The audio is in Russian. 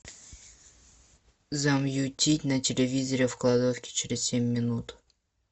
замьютить на телевизоре в кладовке через семь минут